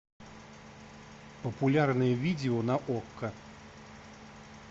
популярные видео на окко